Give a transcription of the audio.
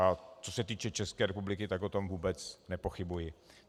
A co se týče České republiky, tak o tom vůbec nepochybuji.